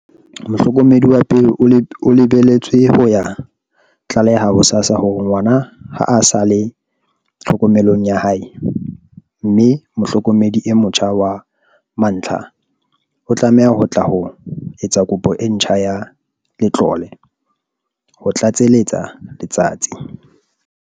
"Mohlokomedi wa pele o lebeletswe ho ya tlaleha ho SASSA hore ngwana ha a sa le tlhokomelong ya hae, mme mohlokomedi e motjha wa mantlha o tlameha ho tla ho etsa kopo e ntjha ya letlole," ho tlatseletsa Letsatsi.